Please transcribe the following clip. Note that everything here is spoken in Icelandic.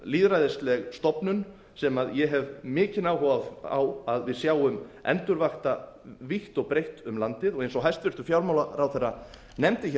lýðræðisleg stofnun sem ég hef mikinn áhuga á að við sjáum endurvakta vítt og breitt um landið eins og hæstvirtur fjármálaráðherra nefndi hér